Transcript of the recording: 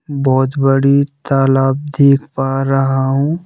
बहोत बड़ी तलाव देख पा रहा हूँ।